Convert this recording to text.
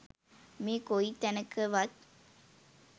මේ කොයි තැනකවත්